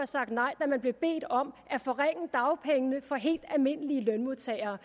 sagt nej da man blev bedt om at forringe dagpengene for helt almindelige lønmodtagere